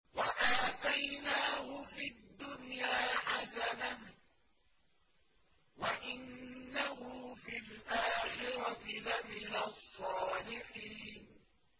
وَآتَيْنَاهُ فِي الدُّنْيَا حَسَنَةً ۖ وَإِنَّهُ فِي الْآخِرَةِ لَمِنَ الصَّالِحِينَ